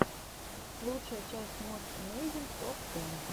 лучшая часть мост эмейзинг топ тэн